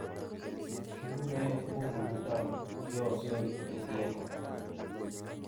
Kikikure buku noto " Yo Soy El Diego",